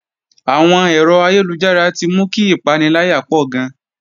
Àwọn ẹ̀rọ ayélujára ti mú kí ìpaniláyà pọ̀ gan